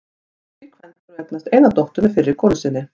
Hann var tvíkvæntur og eignaðist eina dóttur með fyrri konu sinni.